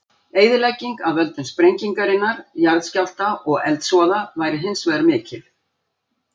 Eyðilegging af völdum sprengingarinnar, jarðskjálfta og eldsvoða væri hins vegar mikil.